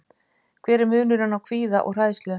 Hver er munurinn á kvíða og hræðslu?